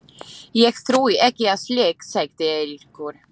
Ég trúi ekki á slíkt, sagði Eiríkur.